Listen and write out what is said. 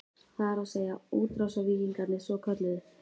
Það er að segja, útrásarvíkingarnir svokölluðu?